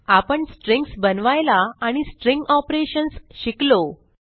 आपण स्ट्रिंग्ज बनवायला आणि स्ट्रिंग ऑपरेशन्स शिकलो